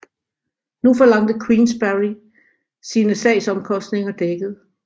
Nu forlangte Queensberry sine sagsomkostninger dækket